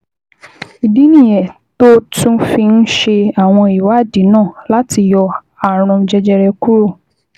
Ìdí nìyẹn tó o tún fi ń ṣe àwọn ìwádìí náà láti yọ ààrùn jẹjẹrẹ kúrò